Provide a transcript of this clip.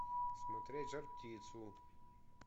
смотреть жар птицу